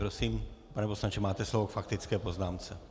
Prosím, pane poslanče, máte slovo k faktické poznámce.